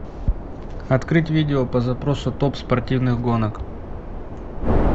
открыть видео по запросу топ спортивных гонок